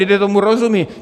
Lidé tomu rozumějí.